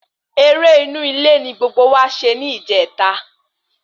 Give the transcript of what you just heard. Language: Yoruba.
Eré inú ilé ní gbogbo wa ṣe ní ìjẹta